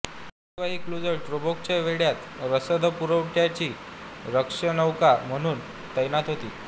याशिवाय ही क्रुझर टोब्रुकच्या वेढ्यात रसदपुरवठ्याची रक्षकनौका म्हणून तैनात होती